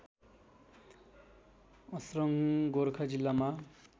अस्रङ गोर्खा जिल्लामा